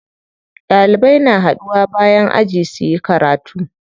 Ɗalibai na haɗuwa bayan aji suyi karatu.